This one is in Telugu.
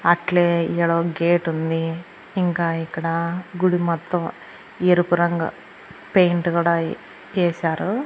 అట్లే ఈడో గేటుంది ఇంకా ఇక్కడ గుడి మొత్తం ఎరుపు రంగు పెయింట్ గుడా ఏసారు.